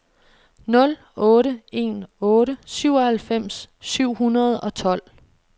nul otte en otte syvoghalvfems syv hundrede og tolv